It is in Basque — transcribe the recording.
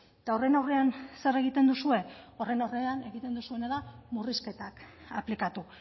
eta horren aurrean zer egiten duzue horren aurrean egiten duzuena da murrizketak aplikatu